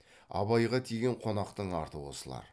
абайға тиген қонақтың арты осылар